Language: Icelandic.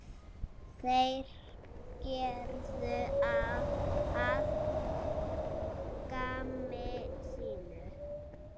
Þeir gerðu að gamni sínu.